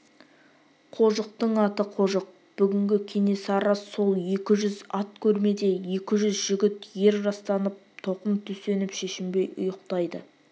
қожықтың аты қожық бүгінгі кенесары сол екі жүз ат көрмеде екі жүз жігіт ер жастанып тоқым төсеніп шешінбей ұйықтайды